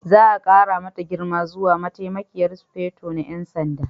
Za a ƙara mata girma zuwa Mataimakiyar Sufeto na 'Yan Sanda.